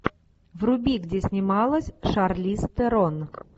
вруби где снималась шарлиз терон